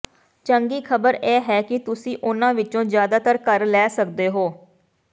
ਚੰਗੀ ਖ਼ਬਰ ਇਹ ਹੈ ਕਿ ਤੁਸੀਂ ਉਨ੍ਹਾਂ ਵਿੱਚੋਂ ਜ਼ਿਆਦਾਤਰ ਘਰ ਲੈ ਸਕਦੇ ਹੋ